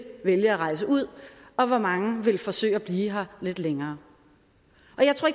vil vælge at rejse ud og hvor mange der vil forsøge at blive lidt længere